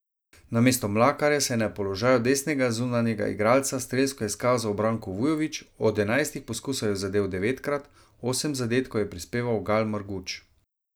Namesto Mlakarja se je na položaju desnega zunanjega igralca strelsko izkazal Branko Vujović, od enajstih poskusov je zadel devetkrat, osem zadetkov je prispeval Gal Marguč.